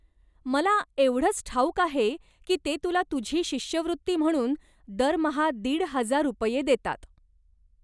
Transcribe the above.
मला एवढंच ठाऊक आहे की ते तुला तुझी शिष्यवृत्ती म्हणून दरमहा दीड हजार रुपये देतात.